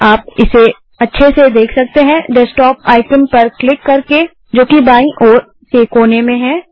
आप इसे अच्छे से देख सकते हैं डेस्कटॉप आइकन पर क्लिक करके जो कि बायीं ओर के कोने में है